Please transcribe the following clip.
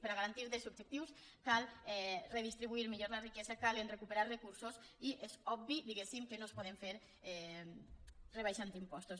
per a garantir drets subjectius cal redistribuir millor la riquesa cal recuperar recursos i és obvi diguem que no es pot fer rebaixant impostos